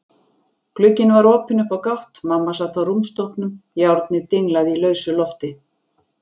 Glugginn var opinn upp á gátt, mamma sat á rúmstokknum, járnið dinglaði í lausu lofti.